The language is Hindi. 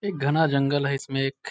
एक घना जंगल है इसमें एक --